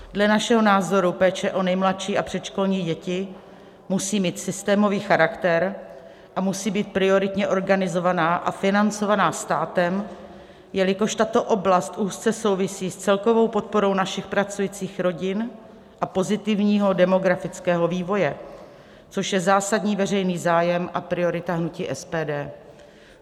Dle našeho názoru péče o nejmladší a předškolní děti musí mít systémový charakter a musí být prioritně organizovaná a financovaná státem, jelikož tato oblast úzce souvisí s celkovou podporou našich pracujících rodin a pozitivního demografického vývoje, což je zásadní veřejný zájem a priorita hnutí SPD.